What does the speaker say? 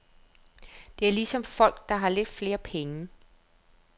Det er ligesom folk, der har lidt flere penge.